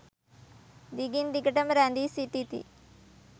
දිගින් දිගට ම රැඳී සිටිති.